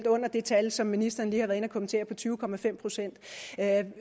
under det tal som ministeren lige har været inde at kommentere på tyve procent